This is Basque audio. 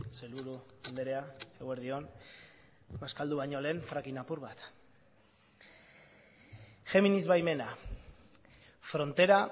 sailburu andrea eguerdi on bazkaldu baino lehen fracking apur bat géminis baimena frontera